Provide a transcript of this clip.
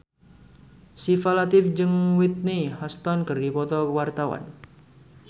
Syifa Latief jeung Whitney Houston keur dipoto ku wartawan